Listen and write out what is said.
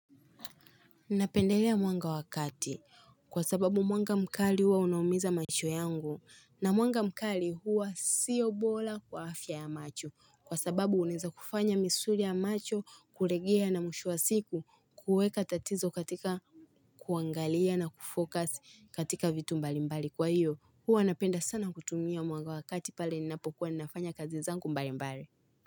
Ninapendelea mwanga wa kati kwa sababu mwanga mkali huwa unaumiza macho yangu na mwanga mkali huwa sio bora kwa afya ya macho kwa sababu uneza kufanya misuri ya macho kulegia na mwisho wa siku kuweka tatizo katika kuangalia na kufokasi katika vitu mbali mbali kwa hiyo huwa anapenda sana kutumia mwanga wa kati pale ninapokuwa ninafanya kazi zangu mbali mbali.